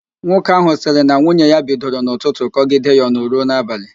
Nwoke ahụ sịrị na nwunye ya bidoro n'ụtụtụ kọgide ya ọnụ ruo n'abalị